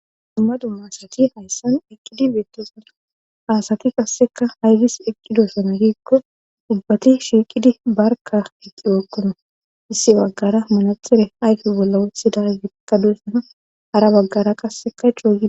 Dummadu maasrati hayssan eqqidi beettosana aasati qasseka haydis eqqidosona riikko ubbati shiiqidi barka eqqi beokkona issi baggara manatxire ayke bolla wothi dagekka duessana hara baggara qasseka choogis.